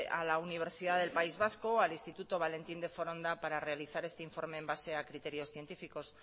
a la universidad del país vasco al instituto valentín de foronda para realizar este informe en base a criterios científicos